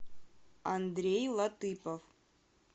андрей латыпов